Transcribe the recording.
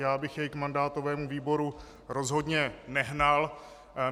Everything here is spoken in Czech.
Já bych jej k mandátovému výboru rozhodně nehnal.